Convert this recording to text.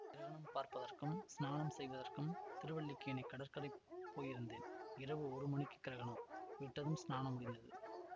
கிரகணம் பார்ப்பதற்கும் ஸ்நானம் செய்வதற்கும் திருவல்லிக்கேணி கடற்கரைக்குப் போயிருந்தேன் இரவு ஒரு மணிக்குக் கிரகணம் விட்டதும் ஸ்நானமும் முடிந்தது